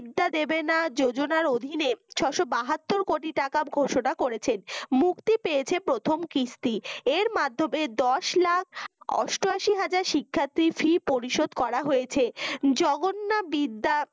দেবেনা যোজনার অধিনে ছয়শত বাহাত্তর কোটি টাকা ঘোষণা করেছেন মুক্তি পেয়েছে প্রথম কিস্তি এর মাধ্যমে দশ লাখ অষ্টাশি হাজার শিক্ষার্থীর fee পরিশোধ করা হয়েছে জগন্য বিদ্যা